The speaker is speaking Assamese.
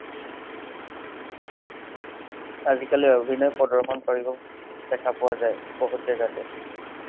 আজি কালি অভিনয় প্ৰদৰ্শন কৰিব দেখা পোৱা যায়, বহুত জেগাতে।